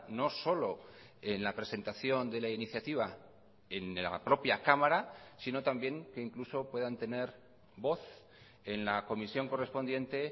no solo en la presentación de la iniciativa en la propia cámara sino también que incluso puedan tener voz en la comisión correspondiente